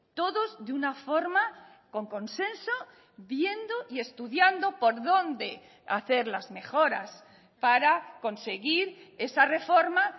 todos de una forma con consenso viendo y estudiando por dónde hacer las mejoras para conseguir esa reforma